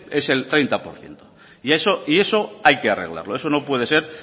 es el treinta por ciento y eso hay que arreglarlo eso no puede ser